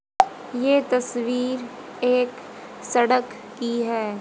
ये तस्वीर एक सड़क की है।